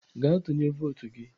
Gaa tụnye votu gị!